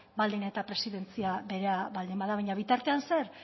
baldin eta presidentzia bera baldin bada baina bitartean zer